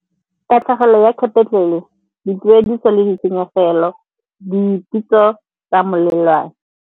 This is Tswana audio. Tatlhegelo ya capital-e, dituediso le ditshenyegelo, dipitso tsa molelwane.